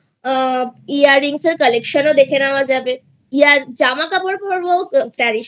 Earrings এর Collectionও দেখে নেওয়া যাবে জামাকাপড় পড়বো